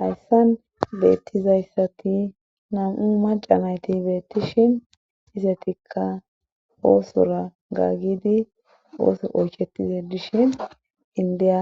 Hayssan beettizayssati nam7u macanayti beettishin isetikka oosora gaggidi ooso oyckhetize dishin indiya